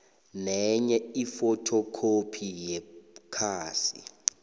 nenye ifothokhophi yekhasi